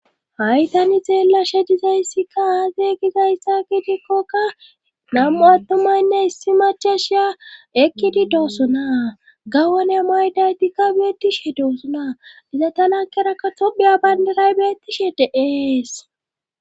Haytani xeellashe dizayssikka aazey gizayssa kiitekkokka nam'u attumaynne issi machashiya ekkidi doossuna gawana mayday dikka beettishe doosuna diza tanakkerakka tophiya bayndaray beettishe de'ees.